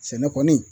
Sɛnɛ kɔni